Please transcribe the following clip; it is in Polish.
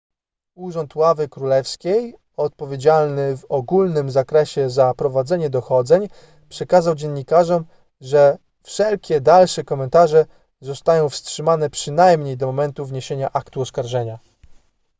urząd ławy królewskiej odpowiedzialny w ogólnym zakresie za prowadzenie dochodzeń przekazał dziennikarzom że wszelkie dalsze komentarze zostają wstrzymane przynajmniej do momentu wniesienia aktu oskarżenia